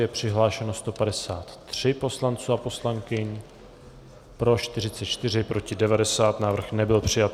Je přihlášeno 153 poslanců a poslankyň, pro 44, proti 90, návrh nebyl přijat.